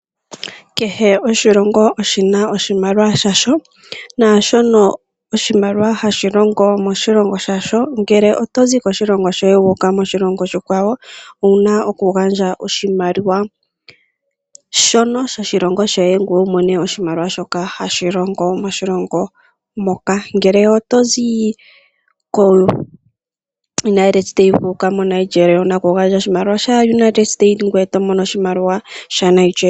Kehe oshilongo oshina oshimaliwa hasho naashono oshimaliwa hashi longo moshilongo shasho, ngele otozi koshilongo shoye wuuka koshilongo oshikwawo owuna oku gandja oshimaliwa shono sho shilongo shoye, ngoye wu mone shoka hashi longo moshilongo moka. Ngele otozi koUnited state wuuka koNigeria owuna oku gandja oshimaliwa shaUnited state ngoye wu to mono oshimaliwa shaNigeria.